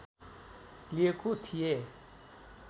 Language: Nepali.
लिएको थिए